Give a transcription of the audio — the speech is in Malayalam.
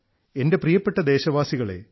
എൻറെ പ്രിയപ്പെട്ട ദേശവാസികളേ